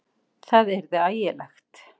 Það yrði ægilegt!